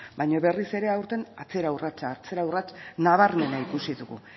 baina berriz ere aurten atzera urratsa atzera urrats nabarmena ikusi dugu